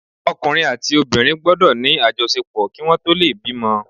Ọkùnrin àti obìnrin gbọ́dọ̀ ní àjọṣepọ̀ kí wọn tó lè bímọ.